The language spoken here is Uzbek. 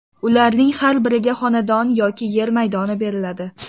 Ularning har biriga xonadon yoki yer maydoni beriladi.